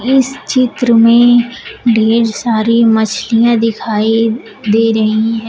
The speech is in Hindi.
इस चित्र में ढेर सारी मछलियां दिखाई दे रही है।